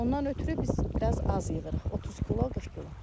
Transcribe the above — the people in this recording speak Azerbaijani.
Ondan ötrü biz biraz az yığırıq, 30 kilo, 40 kilo.